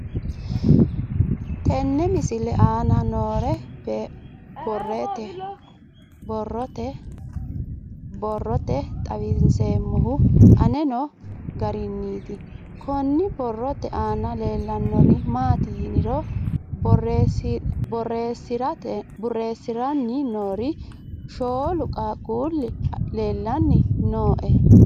Tenne misile aana noore borroteni xawiseemohu aane noo gariniiti. Kunni borrote aana leelanori maati yiniro boreessiranni noori shoolu qaaqulli leelanni nooe.